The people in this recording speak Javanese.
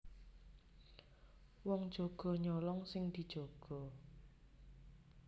Wong jaga nyolong sing dijaga